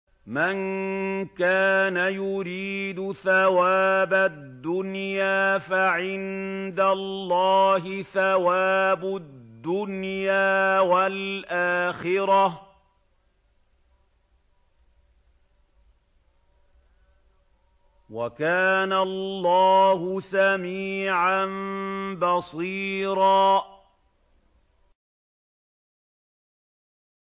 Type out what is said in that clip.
مَّن كَانَ يُرِيدُ ثَوَابَ الدُّنْيَا فَعِندَ اللَّهِ ثَوَابُ الدُّنْيَا وَالْآخِرَةِ ۚ وَكَانَ اللَّهُ سَمِيعًا بَصِيرًا